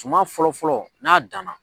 Suman fɔlɔ fɔlɔ n'a danna.